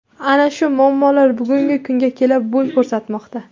Ana shu muammolar bugungi kunga kelib bo‘y ko‘rsatmoqda.